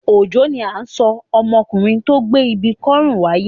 Òjó ni à ń sọ ọmọkùnrin tó gbé ibi kọ́rùn wáyé.